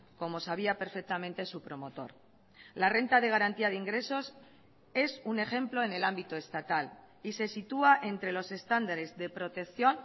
como sabía perfectamente su promotor la renta de garantía de ingresos es un ejemplo en el ámbito estatal y se sitúa entre los estándares de protección